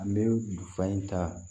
An bɛ bu fa in ta